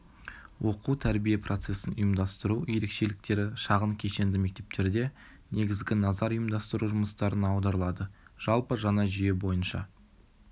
оқу-тәрбие процесін ұйымдастыру ерекшеліктері шағын кешенді мектептерде негізгі назар ұйымдастыру жұмыстарына аударылады жалпы жаңа жүйе бойынша